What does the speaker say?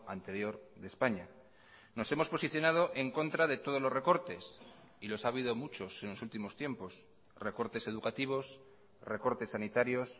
anterior de españa nos hemos posicionado en contra de todos los recortes y los ha habido muchos en los últimos tiempos recortes educativos recortes sanitarios